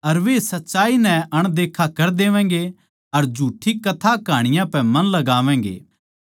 अर वे सच्चाई ताहीं नकार देवैगें अर झूठ्ठी कथाकहाँनियाँ पै मन लगावैंगे